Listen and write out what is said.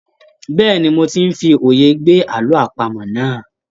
Bẹ́ẹ̀ni, mo ti ń fi òye gbé àlọ́ àpamọ̀ náà.